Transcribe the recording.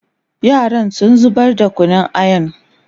yaran sun zubar da Kunun ayan